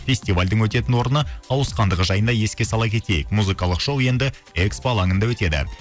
фестивальдің өтетін орны ауысқандығы жайында еске сала кетейік музыкалық шоу енді экспо алаңында өтеді